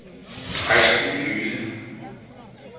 Kristen Yde